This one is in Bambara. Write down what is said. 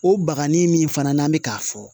O baganin min fana n'an bɛ k'a fɔ